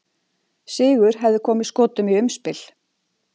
Sigur hefði komið Skotum í umspil.